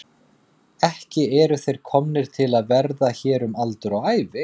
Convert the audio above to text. Ekki eru þeir komnir til að vera hér um aldur og ævi.